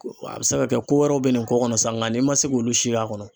A bɛ se ka kɛ ko wɛrɛw bɛ nin ko kɔnɔ sa nka n'i man se k'olu si y'a kɔnɔ